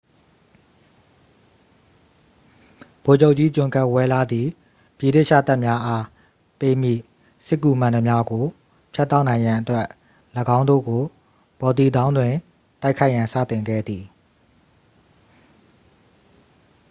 ဗိုလ်ချုပ်ကြီး ဂျွန်ကဒ်ဝဲလား သည် ဗြိတိသျှတပ်များအား ပေးမည့် စစ်ကူမှန်သမျှကို ဖြတ်တောက်နိုင်ရန်အတွက် ၎င်းတို့ကို ဘော်တီတောင်းတွင် တိုက်ခိုက်ရန်စတင်ခဲ့သည်